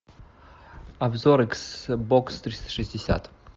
обзор икс бокс триста шестьдесят